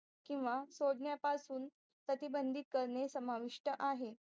किंवा सोडण्यापासून प्रतिबंधित करणे समाविष्ट आहे